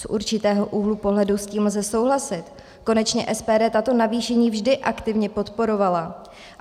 Z určitého úhlu pohledu s tím lze souhlasit, konečně SPD tato navýšení vždy aktivně podporovala.